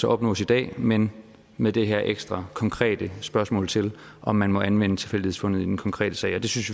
opnås i dag men med det her ekstra konkrete spørgsmål til om man må anvende tilfældighedsfundet i den konkrete sag det synes